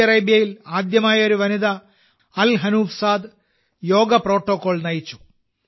Saudi അറേബ്യയിൽ ആദ്യമായി ഒരു വനിത Al Hanoof Saad yoga protocol നയിച്ചു